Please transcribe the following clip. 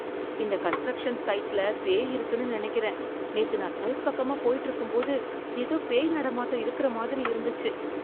இந்த கன்ஸ்ட்ரக்ஷன் சைட்ல பேய் இருக்குன்னு நினைக்கிறேன். நேத்து நான் சைட் பக்கமா போயிட்டு இருக்கும்போது ஏதோ பேய் நடமாட்டம் இருக்குற மாதிரி இருந்துச்சு.